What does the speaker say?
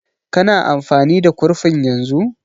Ka na amfani da kurfin yanzu?